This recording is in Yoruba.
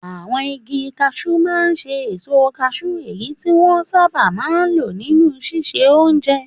Àwọn igi kashúú máa ń ṣe èso kashúú, èyí tí wọ́n sábà máa ń lò nínú ṣíṣe oúnjẹ.